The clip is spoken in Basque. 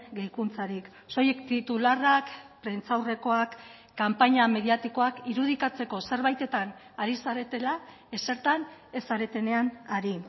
gehikuntzarik soilik titularrak prentsaurrekoak kanpaina mediatikoak irudikatzeko zerbaitetan ari zaretela ezertan ez zaretenean ari